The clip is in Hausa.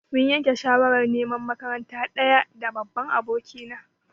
Mun yanke shawarar neman makaranta ɗaya da babban abokina.